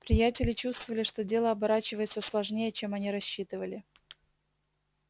приятели чувствовали что дело оборачивается сложнее чем они рассчитывали